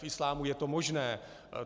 V islámu je to možné.